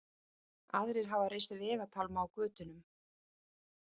Aðrir hafa reist vegatálma á götunum